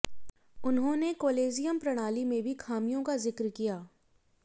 उन्होंने कॉलेजियम प्रणाली में भी खामियों का जिक्र किया